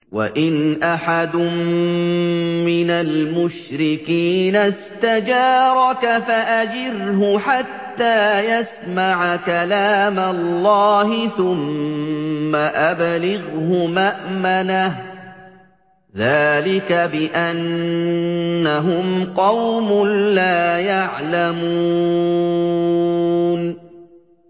وَإِنْ أَحَدٌ مِّنَ الْمُشْرِكِينَ اسْتَجَارَكَ فَأَجِرْهُ حَتَّىٰ يَسْمَعَ كَلَامَ اللَّهِ ثُمَّ أَبْلِغْهُ مَأْمَنَهُ ۚ ذَٰلِكَ بِأَنَّهُمْ قَوْمٌ لَّا يَعْلَمُونَ